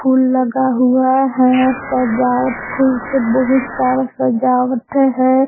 फूल लगा हुआ है सजावट फूल से बहुत सारा सजावट है।